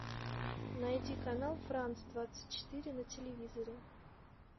найди канал франс двадцать четыре на телевизоре